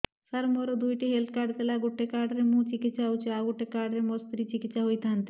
ସାର ମୋର ଦୁଇଟି health card ଥିଲା ଗୋଟେ କାର୍ଡ ରେ ମୁଁ ଚିକିତ୍ସା ହେଉଛି ଆଉ ଗୋଟେ କାର୍ଡ ରେ ମୋ ସ୍ତ୍ରୀ ଚିକିତ୍ସା ହୋଇଥାନ୍ତେ